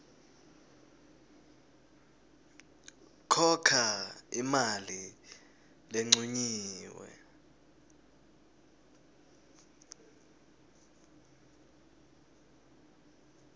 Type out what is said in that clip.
khokha imali lencunyiwe